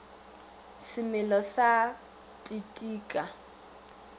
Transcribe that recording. semelo sa t t ka